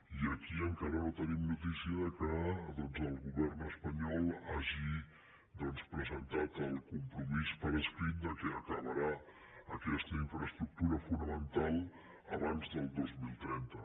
i aquí encara no tenim notícia que el govern espanyol hagi presentat el compromís per escrit que acabarà aquesta infraestructura fonamental abans del dos mil trenta